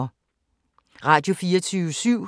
Radio24syv